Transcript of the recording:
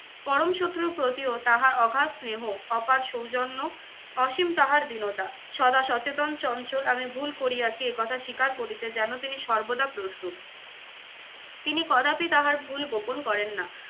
পরম শত্রুর প্রতিও তাহার অঘাত স্নেহ অপার সৌজন্য, অসীম তাহার দীনতা। সদা সচেতন, চঞ্চল আমি ভুল করিয়াছি একথা স্বীকার করিতে যেন তিনি সর্বদা প্রস্তুত। তিনি কদাপি তাহার ভুল গোপন করেন না।